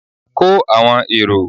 ko awọn eró!